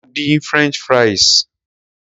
Mo dín french fries.